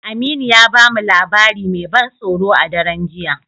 Aminu ya ba mu labari mai ban tsoro a daren jiya.